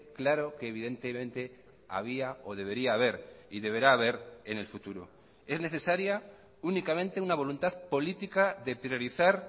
claro que evidentemente había o debería haber y deberá haber en el futuro es necesaria únicamente una voluntad política de priorizar